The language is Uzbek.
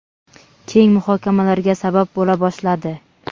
keng muhokamalarga sabab bo‘la boshladi.